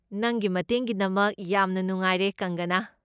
ꯅꯪꯒꯤ ꯃꯇꯦꯡꯒꯤꯗꯃꯛ ꯌꯥꯝꯅ ꯅꯨꯡꯉꯥꯏꯔꯦ, ꯀꯪꯒꯅꯥ꯫